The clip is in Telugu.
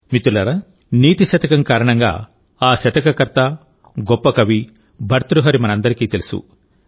మిత్రులారా నీతి శతకం కారణంగా ఆ శతక కర్త గొప్ప కవి భర్తృహరి మనందరికీ తెలుసు